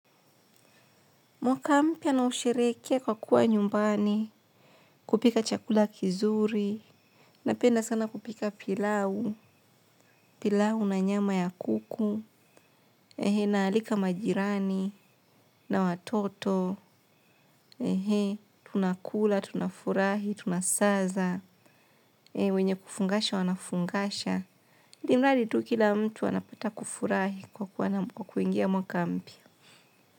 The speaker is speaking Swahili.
Mwakampya na nausherehekea kwa kuwa nyumbani, kupika chakula kizuri, napenda sana kupika pilau, pilau na nyama ya kuku, naalika majirani, na watoto, tunakula, tunafurahi, tunasaza, wenye kufungasha wanafungasha. Imradi tu kila mtu anapata kufurahi kwa kuwa kwa kuingia mwakampya.